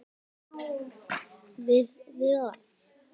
Viljiði sjá úrið mitt?